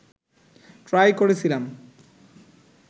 try করেছিলাম